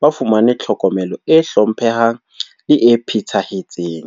ba fumanwe tlhokomelo e hlomphehang le e phethahetseng.